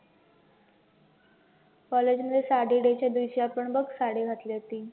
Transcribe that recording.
college मध्ये sari day च्या दिवशी आपण बघ साडी घातली होती.